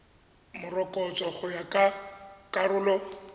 morokotso go ya ka karolo